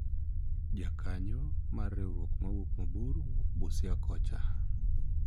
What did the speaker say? jakanyo mar riwruok mawuok mabor wuok Busia kocha